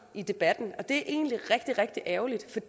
i debatten og det er egentlig rigtig rigtig ærgerligt